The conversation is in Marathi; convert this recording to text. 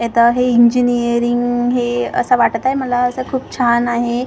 आता हे इंजिनिअरिंग हे असं वाटतंय मला असं खूप छान आहे.